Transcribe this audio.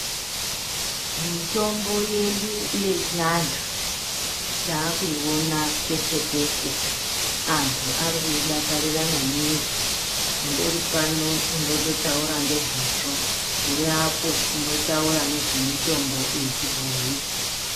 Mitombo inoshandiswa yechiandi tavakuyiona peshe-peshe antu ariku yidakarira maningi undori pano unondotaura nezvazvo ari apo uno ndotaura nezve mitombo yechibhoyi.